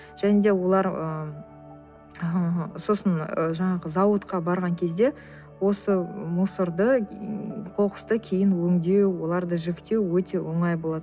және де олар ы сосын ы жаңағы зауытқа барған кезде осы мусорды қоқысты кейін өңдеу оларды жіктеу өте оңай болады